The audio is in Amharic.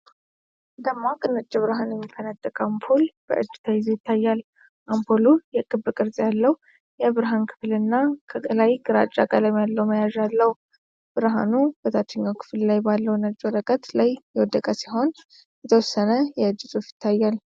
ደማቅ ነጭ ብርሃን የሚፈነጥቅ አምፖል በእጅ ተይዞ ይታያል። አምፖሉ የክብ ቅርጽ ያለው የብርሃን ክፍልና ከላይ ግራጫ ቀለም ያለው መያዣ አለው። ብርሃኑ በታችኛው ክፍል ላይ ባለው ነጭ ወረቀት ላይ የወደቀ ሲሆን፣ የተወሰነ የእጅ ጽሑፍ ይታያል።